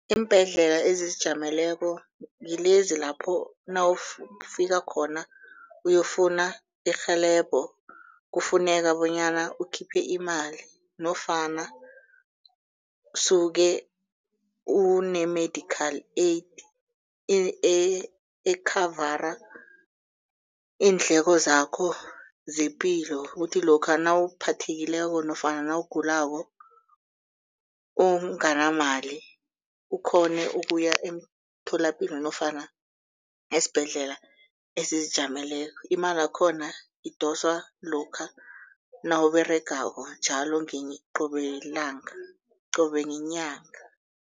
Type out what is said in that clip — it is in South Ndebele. Iimbhedlela ezizijameleko ngilezi lapho nawufika khona uyokufuna irhelebho kufuneka bonyana ukhiphe imali nofana suke une-medical aid ekhavara iindleko zakho zepilo kuthi lokha nawuphathekileko nofana nawugulako unganamali ukhone ukuya emtholapilo nofana esibhedlela ezizijameleko imalakhona idoswa lokha nawuberegako njalo qobe qobe ngenyanga.